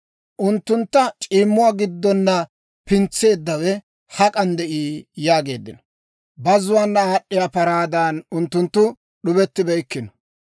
unttunttu c'iimmuwaa giddona pintseeddawe hak'an de'ii?» yaageeddino. Bazzuwaana aad'd'iyaa paraadan, unttunttu d'ubettibeykkino.